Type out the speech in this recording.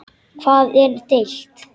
Um hvað er deilt?